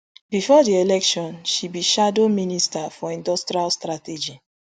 bifor di election she be shadow minister for industrial strategy